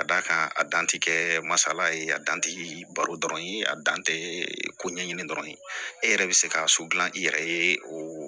Ka d'a kan a dan tɛ kɛ masala ye a dan tɛ baro dɔrɔn ye a dan tɛ ko ɲɛɲini dɔrɔn e yɛrɛ bɛ se ka so dilan i yɛrɛ ye o